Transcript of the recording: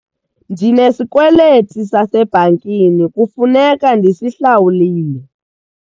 Ndinesikweliti sasebhankini kufuneka ndisihlawule.